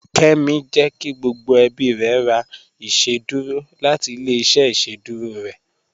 Kẹ́mí jẹ́ kí gbogbo ẹ̀bí rẹ̀ rà ìṣẹ̀dúrò láti ilẹ̀-ìṣẹ̀ ìṣẹ̀dúrò rẹ